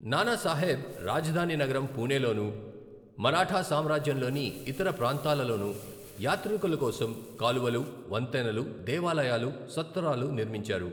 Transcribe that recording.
నానాసాహెబ్ రాజధాని నగరం పూణేలోను, మరాఠా సామ్రాజ్యంలోని ఇతర ప్రాంతాలలోను యాత్రికుల కోసం కాలువలు, వంతెనలు, దేవాలయాలు, సత్రాలు నిర్మించారు.